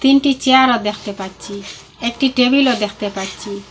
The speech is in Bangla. তিনটি চেয়ারও দেখতে পাচ্ছি একটি টেবিলও দেখতে পাচ্ছি।